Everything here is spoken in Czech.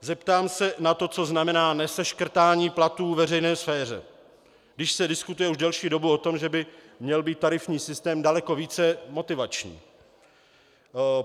Zeptám se na to, co znamená neseškrtání platů ve veřejné sféře, když se diskutuje už delší dobu o tom, že by měl být tarifní systém daleko více motivační.